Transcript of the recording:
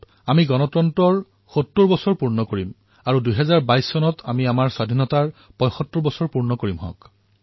২০২০ চন গণতন্ত্ৰৰ ৭০তম বৰ্ষ পূৰণ হব আৰু ২০২২ চনত আমাৰ স্বাধীনতা ৭৫তম বৰ্ষ পূৰণ হব